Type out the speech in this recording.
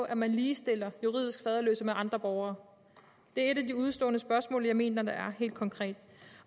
at man ligestiller juridisk faderløse med andre borgere det er et af de udestående spørgsmål jeg mener der er helt konkret